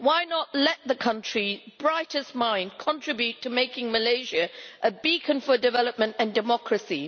Why not let the country's brightest minds contribute to making Malaysia a beacon for development and democracy?